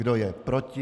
Kdo je proti?